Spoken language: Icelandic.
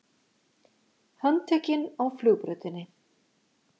Handtekinn á flugbrautinni